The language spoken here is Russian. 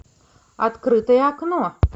открытое окно